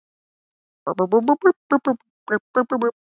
Lillý Valgerður: Ásmundur, hvernig er staðan í þingflokknum?